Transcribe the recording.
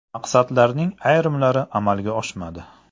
Maqsadlarning ayrimlari amalga oshmadi.